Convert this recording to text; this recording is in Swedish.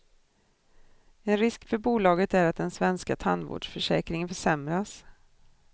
En risk för bolaget är att den svenska tandvårdsförsäkringen försämras.